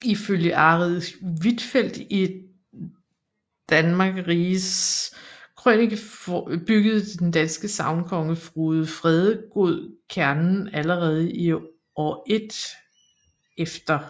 Ifølge Arild Huitfeldt i Danmarckis Rigis Krønicke byggede den danske sagnkonge Frode Fredegod Kernen allerede i år 1 e